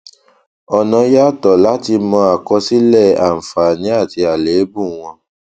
ọnà yàtọ láti mọ àkọsílẹ àǹfààní àti àléébù wọn